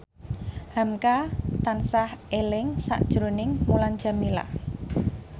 hamka tansah eling sakjroning Mulan Jameela